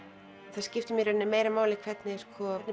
það skiptir mig meira máli hvernig